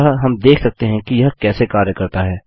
अतः हम देख सकते हैं कि यह कैसे कार्य करता है